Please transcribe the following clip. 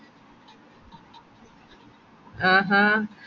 ആഹ് ഹ